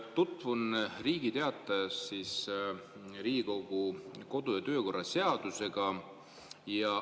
Tutvun Riigi Teatajas Riigikogu kodu- ja töökorra seadusega.